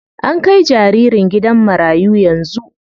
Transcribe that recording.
An kai jaririn gidan marayu yanzu.